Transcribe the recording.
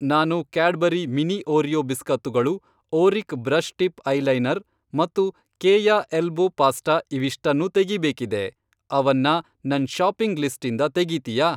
ನಾನು Cadbury mini Oreo ಬಿಸ್ಕತ್ತುಗಳು, ಓರಿಕ್ ಬ್ರಷ್ ಟಿಪ್ ಐಲೈನರ್ ಮತ್ತು ಕೇಯ ಎಲ್ಬೋ ಪಾಸ್ಟಾ ಇವಿಷ್ಟನ್ನೂ ತೆಗೀಬೇಕಿದೆ, ಅವನ್ನ ನನ್ ಷಾಪಿಂಗ್ ಲಿಸ್ಟಿಂದ ತೆಗೀತೀಯಾ?